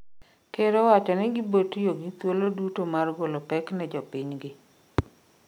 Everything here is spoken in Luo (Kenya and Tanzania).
Ker owacho ni gibotiyo gi thuolo duto mar golo pek ne jopiny gi